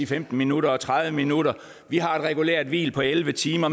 femten minutter og tredive minutter vi har et regulært hvil på elleve timer